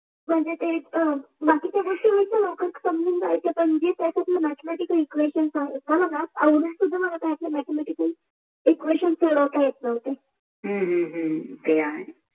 बाकीच्या गोष्टी आपण समजून जायच पण जे स्यात्र्जी म्याठे म्यातिक एक्वेशन